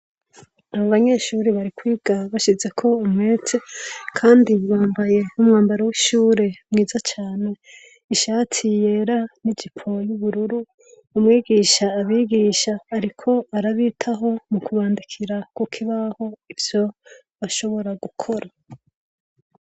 Abanyeshure barikwiga basizeko umwete, kandi bambaye umwambaro w'ishure mwiza cane. ishati yera n'ijipo y'ubururu. umwigisha abigisha ariko arabitaho mukubandikira kukibaho ivyo bashobora gukora.